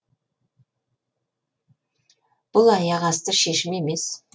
бұл аяқ асты шешім емес